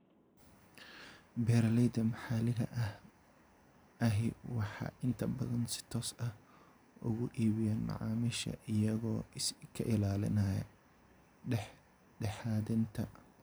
Beeralayda maxalliga ahi waxay inta badan si toos ah uga iibiyaan macaamiisha, iyagoo iska ilaalinaya dhexdhexaadinta.